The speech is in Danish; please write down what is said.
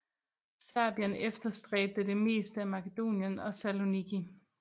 Serbien efterstræbte det meste af Makedonien og Saloniki